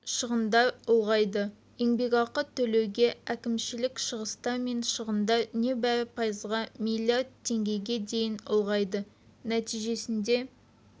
шығындар ұлғайды еңбекақы төлеуге әкімшілік шығыстар мен шығындар небәрі пайызға милиард теңгеге дейін ұлғайды нәтижесінде